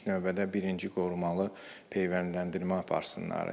İlk növbədə birinci qorumalı peyvəndləndirmə aparsınlar.